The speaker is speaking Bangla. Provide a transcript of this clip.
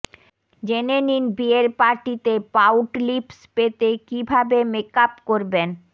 জেনে নিন বিয়ের পার্টিতে পাউট লিপস পেতে কী ভাবে মেকআপ করবেন